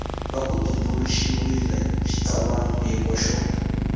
va ku tumbuluxiwile xitsalwambiko xo